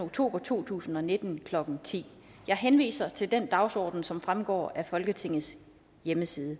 oktober to tusind og nitten klokken ti jeg henviser til den dagsorden som fremgår af folketingets hjemmeside